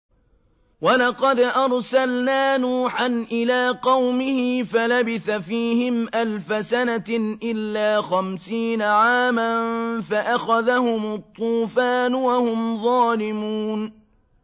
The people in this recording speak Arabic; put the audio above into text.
وَلَقَدْ أَرْسَلْنَا نُوحًا إِلَىٰ قَوْمِهِ فَلَبِثَ فِيهِمْ أَلْفَ سَنَةٍ إِلَّا خَمْسِينَ عَامًا فَأَخَذَهُمُ الطُّوفَانُ وَهُمْ ظَالِمُونَ